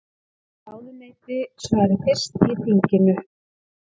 Ráðuneyti svari fyrst í þinginu